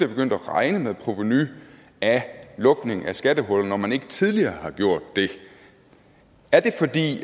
begyndt at regne med provenu af lukning af skattehuller når man ikke tidligere har gjort det er det fordi